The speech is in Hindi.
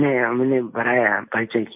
नहीं हमने बढ़ाया परिचय किया